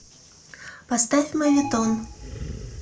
поставь моветон